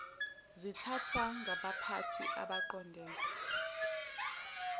zithathwa ngabaphathi abaqondene